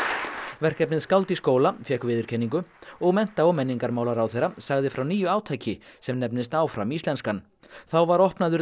verkefnið skáld í skóla fékk viðurkenningu og mennta og menningarmálaráðherra sagði frá nýju átaki sem nefnist áfram íslenskan þá var opnaður